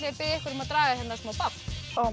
að biðja ykkur um að draga smá babb ó